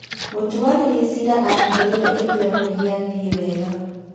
Mũtuanĩri cira atigĩrĩire gĩthurano nĩ gĩathiĩ wega